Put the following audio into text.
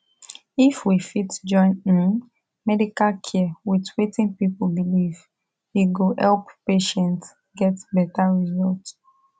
if we fit join um medical care with wetin people believe e go help patients get better result